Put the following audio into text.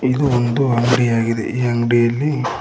ಇದು ಒಂದು ಅಂಗಡಿಯಾಗಿದೆ ಈ ಅಂಗ್ಡಿಯಲ್ಲಿ--